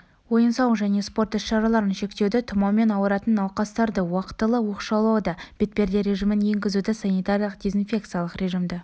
ойын-сауық және спорт іс-шараларын шектеуді тұмаумен ауыратын науқастарды уақтылы оқшаулауды бетперде режимін енгізуді санитариялық-дезинфекциялық режимді